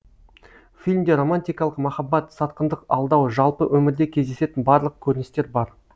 фильмде романтикалық махаббат сатқындық алдау жалпы өмірде кездесетін барлық көріністер бар